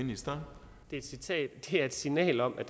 altså et signal om at